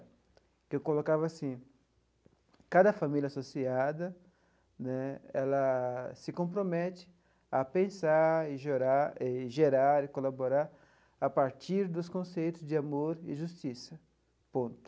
Porque eu colocava assim, cada família associada né, ela se compromete a pensar e gerar e gerar e colaborar a partir dos conceitos de amor e justiça, ponto.